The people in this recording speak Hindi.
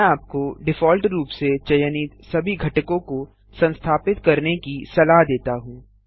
मैं आपको डिफॉल्ट रूप से चयनित सभी घटकों को संस्थापित करने की सलाह देता हूँ